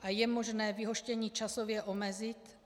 A je možné vyhoštění časově omezit?